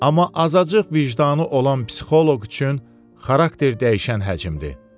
Amma azacıq vicdanı olan psixoloq üçün xarakter dəyişən həcmdır.